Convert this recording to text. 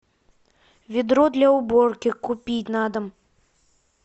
ведро для уборки купить на дом